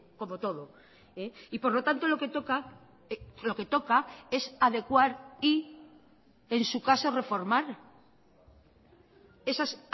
como todo y por lo tanto lo que toca lo que toca es adecuar y en su caso reformar esas